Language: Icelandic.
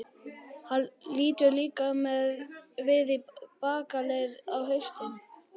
Hann lítur líka við í bakaleið, á haustin.